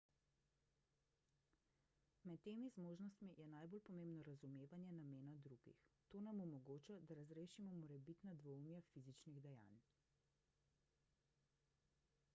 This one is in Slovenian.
med temi zmožnostmi je najbolj pomembno razumevanje namena drugih ta nam omogoča da razrešimo morebitna dvoumja fizičnih dejanj